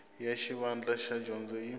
ya xivandla xa dyondzo yi